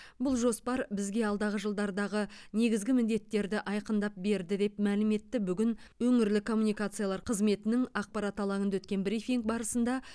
бұл жоспар бізге алдағы жылдардағы негізгі міндеттерді айқындап берді деп мәлім етті бүгін өңірлік коммуникациялар қызметінің ақпарат алаңында өткен брифинг барысында